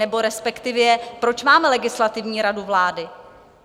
Nebo respektive, proč máme Legislativní radu vlády?